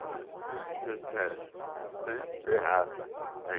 Você tem tem que ter raça. Tem